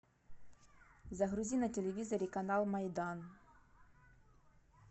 загрузи на телевизоре канал майдан